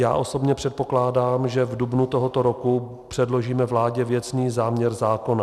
Já osobně předpokládám, že v dubnu tohoto roku předložíme vládě věcný záměr zákona.